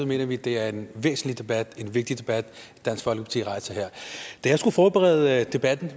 mener vi det er en væsentlig debat en vigtig debat dansk folkeparti rejser her da jeg skulle forberede debatten